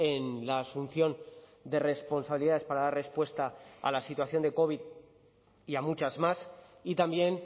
en la asunción de responsabilidades para dar respuesta a la situación de covid y a muchas más y también